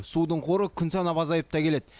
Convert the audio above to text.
судың қоры күн санап азайып та келеді